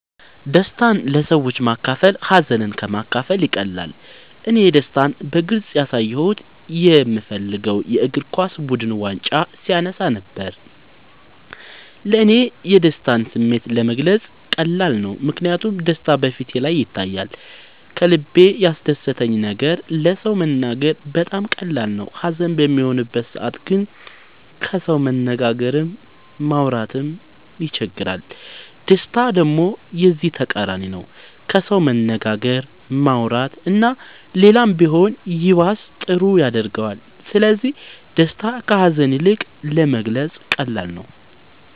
ደስታን ለሰዎች ማካፈል ሀዘንን ከ ማካፈል ይቀላል እኔ ደስታን በግልፅ ያሳየሁት የ ምደግፈው የ እግርኳስ ቡድን ዋንጫ ሲያነሳ ነበር። ለ እኔ የደስታን ስሜት መግለፅ ቀላል ነው ምክንያቱም ደስታ በ ፊቴ ላይ ይታያል ከልበ ያስደሰተን ነገር ለ ሰው መናገር በጣም ቀላል ነው ሀዘን በሚሆንበት ሰዓት ግን ከሰው መነጋገርም ማውራት ይቸግራል ደስታ ደሞ የዚ ተቃራኒ ነው ከሰው መነጋገር ማውራት እና ሌላም ቢሆን ይባስ ጥሩ ያረገዋል ስለዚ ደስታ ከ ሀዛን ይልቅ ለመግለፃ ቀላል ነው።